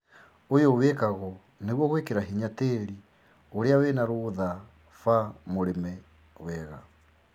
ũyũ wĩkagwo nĩguo gwĩkĩra hinya tĩri ũrĩa wĩna rũtha ba mũrĩme wega